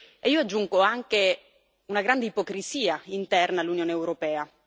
E, io aggiungo, anche una grande ipocrisia interna all'Unione europea.